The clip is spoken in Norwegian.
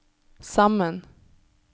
sammen